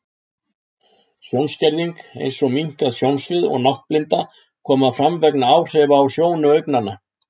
Sjónskerðing, eins og minnkað sjónsvið og náttblinda, koma fram vegna áhrifa á sjónu augnanna.